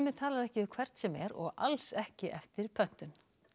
talar ekki við hvern sem er og alls ekki eftir pöntun